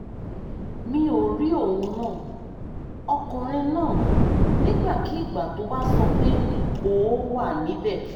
mi ò rí ohun náà ọkùnrin náà nígbàkigbà tó bá sọ pé ó ó wà níbẹ̀